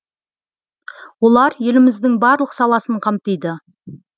олар еліміздің барлық саласын қамтиды